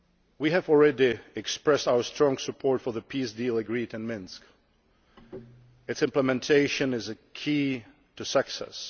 We have already expressed our strong support for the peace deal agreed in Minsk its implementation is a key to success.